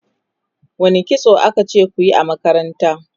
wani kitso akace kuyi a makaranta?